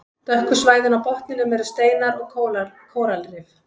Dökku svæðin á botninum eru steinar og kóralrif.